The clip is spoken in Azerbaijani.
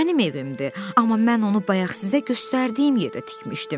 Mənim evimdir, amma mən onu bayaq sizə göstərdiyim yerdə tikmişdim.